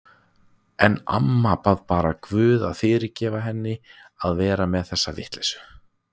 En amma bað bara guð að fyrirgefa henni að vera með þessa vitleysu.